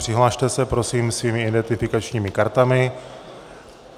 Přihlaste se prosím svými identifikačními kartami.